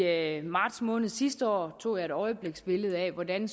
jeg i marts måned sidste år tog et øjebliksbillede af hvordan